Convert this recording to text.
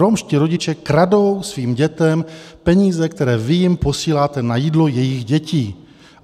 Romští rodiče kradou svým dětem peníze, které vy jim posíláte na jídlo jejich dětí.